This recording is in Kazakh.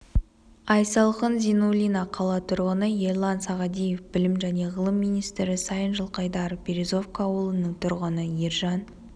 айсалқын зинуллина қала тұрғыны ерлан сағадиев білім және ғылым министрі сайын жылқайдаров березовка ауылының тұрғыны ержан